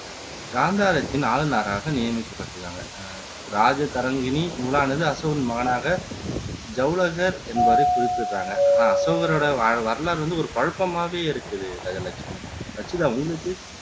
காந்தாரத்தின் ஆளுநராக நியமிக்கப்பட்டுருக்காங்க இராஜதரங்கிணி நூலானது அசோகரின் மகனாக ஜலௌகர் என்பவரை குறிப்பிடுறாங்க அசோகரோட வரலாறு வந்து ஒரு குழப்பமாவே இருக்குது கஜலட்சுமி ரச்சிதா உங்களுக்கு